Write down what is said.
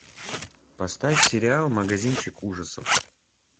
поставь сериал магазинчик ужасов